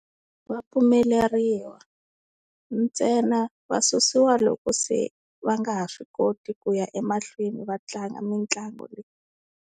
Va pfumeleriwa ntsena va susiwa loko se va nga ha swi koti ku ya emahlweni va tlanga mitlangu leyi.